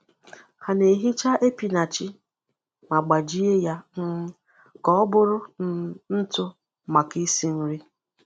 Ha na-ehicha epinachi ma gbajie ya um ka ọ bụrụ um ntụ maka isi nri.